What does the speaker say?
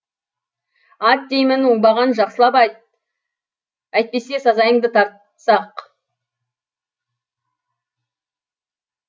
ат деймін оңбаған жақсылап ат әйтпесе сазайыңды тартсақ